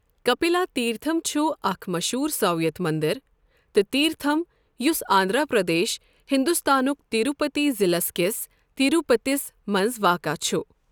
کپیلا تھیرتھم چھُ اکھ مشہوٗر سائویت مٔنٛدِر تہٕ تھیرتھم، یُس آندھرا پردیش، ہندوستان کہِ تروپتی ضلعہٕ کِس تروپتیَس منٛز واقعہ چھُ۔